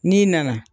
N'i nana